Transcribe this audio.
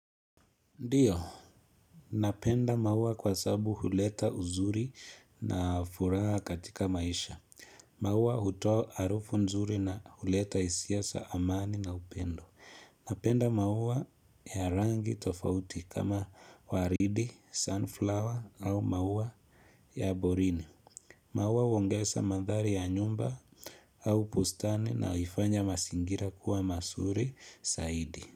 Ndiyo, napenda maua kwa sababu huleta uzuri na furaha katika maisha. Maua hutoa harufu nzuri na huleta hisia za amani na upendo. Napenda maua ya rangi tofauti kama waridi, sunflower au maua ya borini. Maua huongeza mandhari ya nyumba au bustani na huifanya mazingira kuwa mazuri saidi.